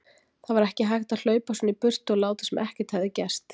Það var ekki hægt að hlaupa svona í burtu og láta sem ekkert hefði gerst.